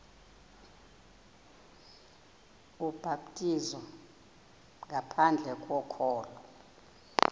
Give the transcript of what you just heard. ubhaptizo ngaphandle kokholo